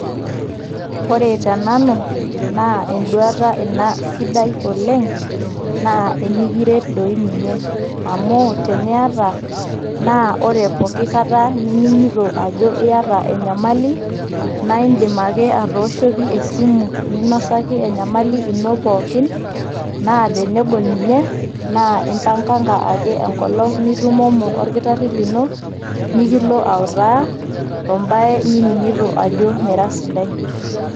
Ore tenanu naa enduata ina sidai oleng' naa enikiret doi ninye. Amu teniata naa ore pookikata nining'ito ajo iyata enyamali naa indim ake atooshoki esimu, ninosaki enyamali ino pookin naa tenegol ninye naa impanganga ake engolong' nitumomo olkitarri lino, nikilo autaa tombaa nining'ito ajo mira sidai.